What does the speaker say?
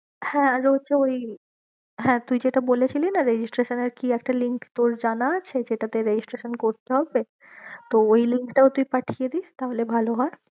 হ্যাঁ আর হচ্ছে ওই হ্যাঁ তুই যেটা বলেছিলি না registration এর কি একটা link তোর জানা আছে যেটাতে registration করতে হবে। তো ওই link টাও তুই পাঠিয়ে দিস তাহলে ভালো হয়।